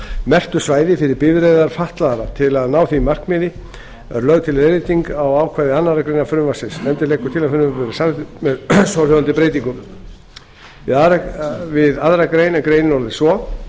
merktu svæði fyrir bifreiðir fatlaðra til að ná því markmiði er lögð til leiðrétting á ákvæði annarrar greinar frumvarpsins nefndin leggur til að frumvarpið verði samþykkt með svohljóðandi breytingum við aðra grein greinin orðist svo